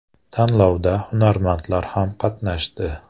Tanlovda hunarmandlar ham qatnashdi.